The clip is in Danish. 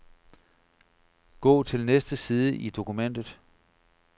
Gå til næste side i dokumentet.